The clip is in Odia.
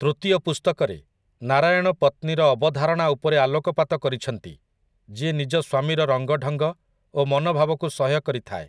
ତୃତୀୟ ପୁସ୍ତକରେ, ନାରାୟଣ ପତ୍ନୀର ଅବଧାରଣା ଉପରେ ଆଲୋକପାତ କରିଛନ୍ତି, ଯିଏ ନିଜ ସ୍ୱାମୀର ରଙ୍ଗଢଙ୍ଗ ଓ ମନୋଭାବକୁ ସହ୍ୟ କରିଥାଏ ।